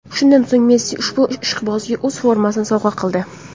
Shundan so‘ng Messi ushbu ishqibozga o‘z formasini sovg‘a qildi.